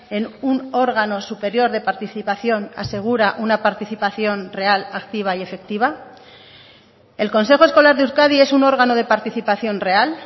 en un órgano superior de participación asegura una participación real activa y efectiva el consejo escolar de euskadi es un órgano de participación real